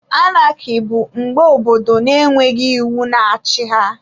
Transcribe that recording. Anaki bụ mgbe obodo na-enweghị iwu na-achị ha